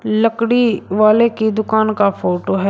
लकड़ी वाले की दुकान का फोटो है।